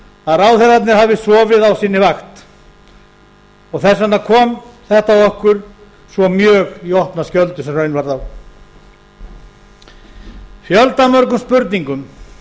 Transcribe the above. að ráðherrarnir hafi sofið á sinni vakt og þess vegna kom þetta okkur svo mjög í opna skjöldu sem raun varð á fjöldamörgum spurningum